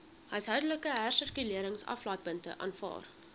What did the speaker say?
huishoudelike hersirkuleringsaflaaipunte aanvaar